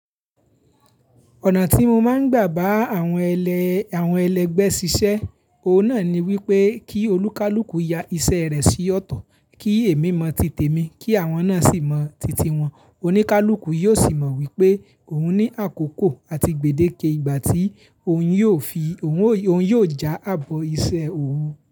Ọ̀nà tí mo máa ń gbà bá àwọn ẹlẹgbẹ́ ṣiṣẹ́, òun náà ni wípé kí olúkalúkù ya iṣẹ́ rẹ̀ sí ọ̀tọ̀, kí èmi mọ titẹ mi, kí àwọn náà sì mọ titi wọn. Oníkálukú yóò sì mọ wípé òun ní àkókò àti gbèdéke ìgbà tí òun yóò já ààbọ̀ iṣẹ́ òun.